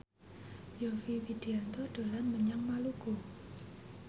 Yovie Widianto dolan menyang Maluku